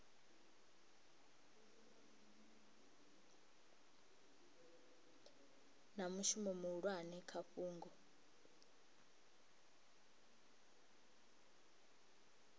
na mushumo muhulwane kha fhungo